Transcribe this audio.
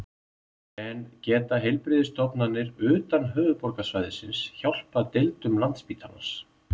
En geta heilbrigðisstofnanir utan höfuðborgarsvæðisins hjálpað deildum Landspítalans?